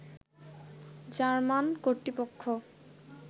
German কর্তৃপক্ষ